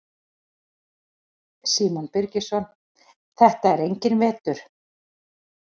Símon Birgisson: Þetta er enginn vetur?